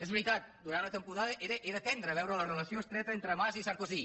és veritat durant una temporada era tendre veure la relació estreta entre mas i sarkozy